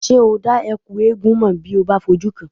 Ṣé o dá Ẹ̀kú eégún mọ̀ bí ó bá fi ojú kàn án?